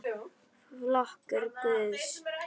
Flokkur Guðs?